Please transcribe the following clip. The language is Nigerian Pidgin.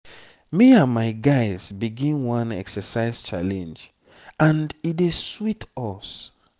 me and my guys begin one exercise challenge and e dey sweet us.